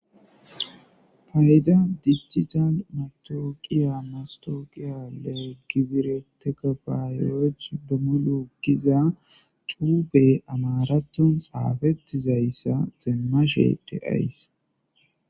Payda dijjital matooqiya mastooqiyalee gibireteka baayiyooch dumologiza cube amaraton xaafettizayssa xeemma sheede ays